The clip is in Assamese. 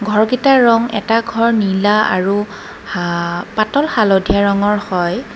ঘৰকিতাৰ ৰং এটা ঘৰ নীলা আৰু হা পাতল হালধীয়া ৰঙৰ হয়।